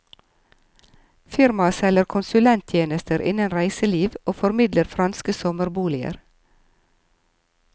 Firmaet selger konsulenttjenester innen reiseliv og formidler franske sommerboliger.